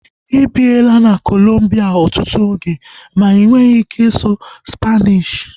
Ịbiela na Kolombia ọtụtụ oge ma inweghi ike ịsụ Spaanishi